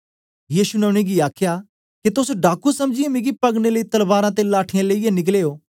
यीशु ने उनेंगी आखया के तोस डाकू समझीयै मिगी पकड़ने लेई तलवारां ते लाठियाँ लेईयै निकले ओ